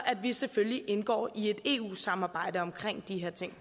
at vi selvfølgelig indgår i et eu samarbejde om de her ting